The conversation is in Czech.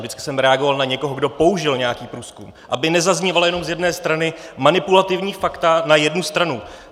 Vždycky jsem reagoval na někoho, kdo použil nějaký průzkum, aby nezaznívala jenom z jedné strany manipulativní fakta na jednu stranu.